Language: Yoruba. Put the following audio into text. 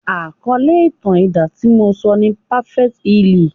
Àkọ́lé ìtàn ti idán tí mo sọ ni "perfect healing."